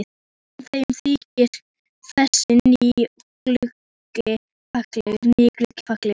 En þeim þykir þessi nýi gluggi fallegur.